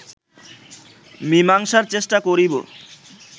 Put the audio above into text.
মীমাংসার চেষ্টা করিব